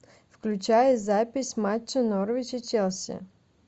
включай запись матча норвич и челси